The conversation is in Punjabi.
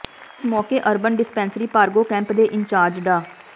ਇਸ ਮੌਕੇ ਅਰਬਨ ਡਿਸਪੈਂਸਰੀ ਭਾਰਗੋ ਕੈਂਪ ਦੇ ਇੰਚਾਰਜ ਡਾ